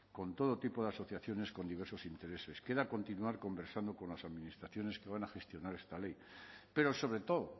con todo tipo de asociaciones con diversos intereses queda continuar conversando con las administraciones que van a gestionar esta ley pero sobre todo